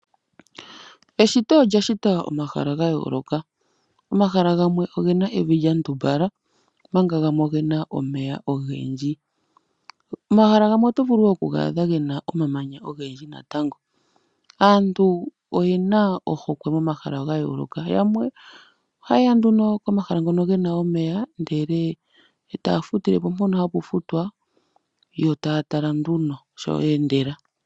Eshito olya shita omahala gayoloka, omahala ngamwe ongena evi lyandumbala omanga ngamwe ongena omeya ongendji, omahala ngamwe oto vulu wo okugadha ngena omamanya ongendji natango, aantu oyena ohokwe momahala ngayoloka ngamwe ohayeya komahala hono kuna omeya ndele tafutilepo pono hapufutwa yo tayatala nduno sho yendela.